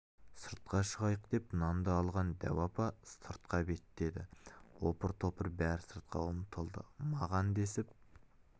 сыртқа шығайық деп нанды алған дәу апа сыртқа беттеді опыр-топыр бәрі сыртқа ұмтылды маған десіп